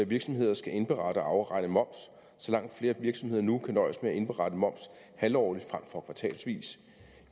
virksomheder skal indberette og afregne moms så langt flere virksomheder nu kan nøjes med at indberette moms halvårligt frem for kvartalsvis